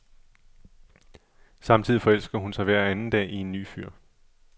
Samtidig forelsker hun sig hver anden dag i en ny fyr.